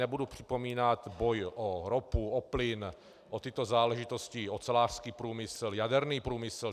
Nebudu připomínat boj o ropu, o plyn, o tyto záležitosti, ocelářský průmysl, jaderný průmysl.